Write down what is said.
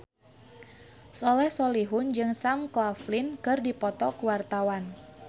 Soleh Solihun jeung Sam Claflin keur dipoto ku wartawan